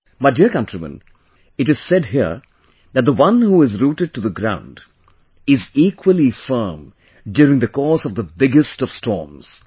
My dear countrymen, it is said here that the one who is rooted to the ground, is equally firm during the course of the biggest of storms